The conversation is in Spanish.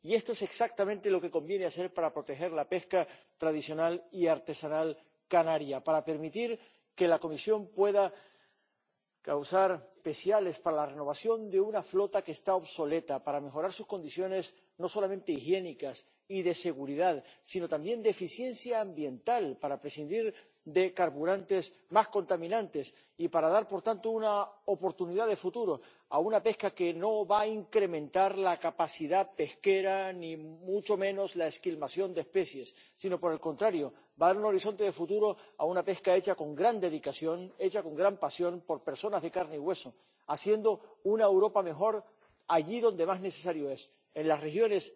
Y esto es exactamente lo que conviene hacer para proteger la pesca tradicional y artesanal canaria, para permitir que la Comisión pueda encauzar ayudas especiales para la renovación de una flota que está obsoleta, para mejorar sus condiciones no solamente higiénicas y de seguridad sino también de eficiencia ambiental, para prescindir de carburantes más contaminantes y para dar, por tanto, una oportunidad de futuro a una pesca que no va a incrementar la capacidad pesquera, ni mucho menos la esquilmación de especies, sino, por el contrario, va a dar un horizonte de futuro a una pesca hecha con gran dedicación, hecha con gran pasión, por personas de carne y hueso, haciendo una Europa mejor allí donde más necesario es en las regiones